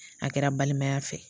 A kɛra balimaya fɛ